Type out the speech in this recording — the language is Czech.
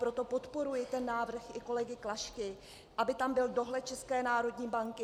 Proto podporuji ten návrh i kolegy Klašky, aby tam byl dohled České národní banky.